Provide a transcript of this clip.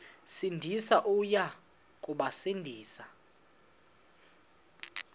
sindisi uya kubasindisa